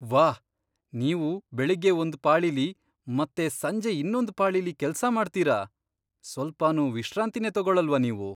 ವಾಹ್! ನೀವು ಬೆಳಗ್ಗೆ ಒಂದ್ ಪಾಳಿಲಿ ಮತ್ತೆ ಸಂಜೆ ಇನ್ನೊಂದ್ ಪಾಳಿಲಿ ಕೆಲ್ಸ ಮಾಡ್ತೀರ! ಸ್ವಲ್ಪನೂ ವಿಶ್ರಾಂತಿನೇ ತಗೊಳಲ್ವಾ ನೀವು?